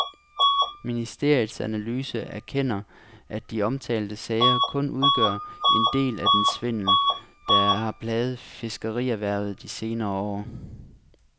Ministeriets analyse erkender, at de omtalte sager kun udgør en del af den svindel, der har plaget fiskerierhvervet de senere år.